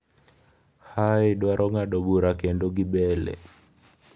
Haye dwaro ng’ado bura kendo gi Bellew